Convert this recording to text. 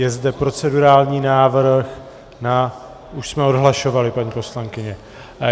Je zde procedurální návrh na... už jsme odhlašovali, paní poslankyně.